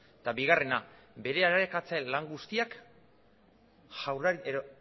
eta bigarrena bere arakatze lan guztiak